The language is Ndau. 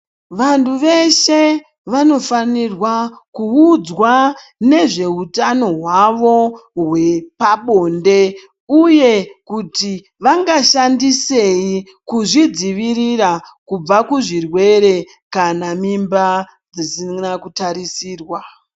Vantu veshe vanofanirwa kuudzwa nezveutano hwavo hwepabonde uye kuti vangashandisei kuzvidzivirira kubva kuzvirwere kana mimba dzisina kutarisirwa.